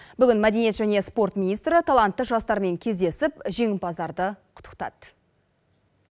бүгін мәдениет және спорт министрі талантты жастармен кездесіп жеңімпаздарды құттықтады